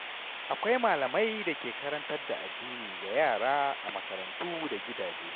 Akwai malamai da ke karantar da addini ga yara a makarantu da gidaje.